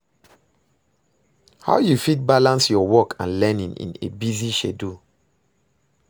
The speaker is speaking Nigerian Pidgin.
How you fit balance your work and learning in a busy schedule?